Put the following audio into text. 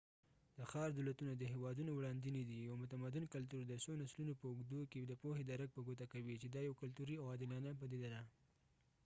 د ښار دولتونه د هیوادونو وړاندینې دي یو متمدن کلتور د څو نسلونو په اوږدو کې د پوهې درک په ګوته کوي چې دا یوه کلتوري او عادلانه پدیده ده